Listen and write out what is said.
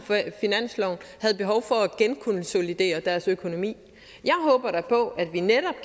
havde behov for at genkonsolidere deres økonomi jeg håber da på